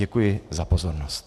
Děkuji za pozornost.